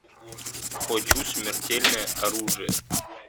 хочу смертельное оружие